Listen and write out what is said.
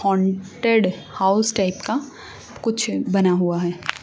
Haunted house type का कुछ बना हुआ है।